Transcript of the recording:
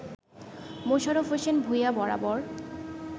মোশারফ হোসেন ভূঁইয়া বরাবর